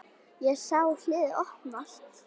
Ég sá hliðið opnast.